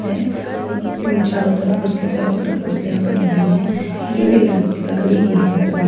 है और चारों तरफ उसके चारों तरफ कुर्सियां पड़ी हुई हैं जो कि लड़ लकड़ी गई हैं पूरी--